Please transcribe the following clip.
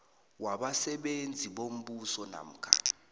wabasebenzi bombuso namkha